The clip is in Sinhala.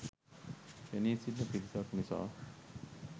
පෙනී සිටින පිරිසක් නිසා